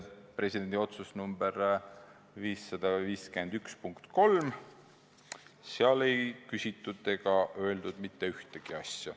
Presidendi otsuse punkti 3 kohta ei küsitud ega öeldud mitte midagi.